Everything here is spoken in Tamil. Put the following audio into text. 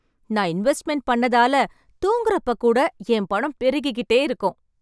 நான் இன்வெஸ்ட்மென்ட் பண்ணதால, தூங்குறப்ப கூட என் பணம் பெருகி கிட்டே இருக்கும்.